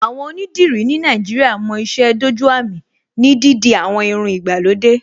Àwọn onídìrí ní Nàìjíríà mo ìṣe dójú àmì ní dídi àwọn irun ìgbàlódé